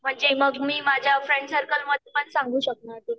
म्हणजे मी माझ्या फ्रेंड सर्कलमध्ये पण सांगू शकणार ते.